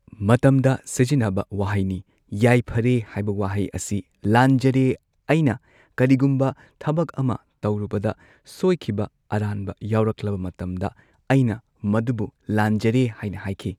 ꯃꯇꯝꯗ ꯁꯤꯖꯤꯟꯅꯕ ꯋꯥꯍꯩꯅꯤ ꯌꯥꯏꯐꯔꯦ ꯍꯥꯏꯕ ꯋꯥꯍꯩ ꯑꯁꯤ ꯂꯥꯟꯖꯔꯦ ꯑꯩꯅ ꯀꯔꯤꯒꯨꯝꯕ ꯊꯕꯛ ꯑꯃ ꯇꯧꯔꯨꯕꯗ ꯁꯣꯏꯈꯤꯕ ꯑꯔꯥꯟꯕ ꯌꯥꯎꯔꯛꯂꯕ ꯃꯇꯝꯗ ꯑꯩꯅ ꯃꯗꯨꯕꯨ ꯂꯥꯟꯖꯔꯦ ꯍꯥꯏꯅ ꯍꯥꯏꯈꯤ꯫